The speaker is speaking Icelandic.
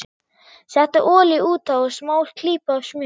Settu olíu út á og smá klípu af smjöri.